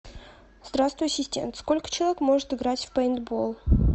здравствуй ассистент сколько человек может играть в пейнтбол